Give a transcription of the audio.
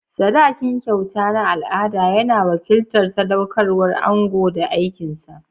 Sadakin, kyauta na al'ada, yana wakiltar sadaukarwar ango da aikin sa.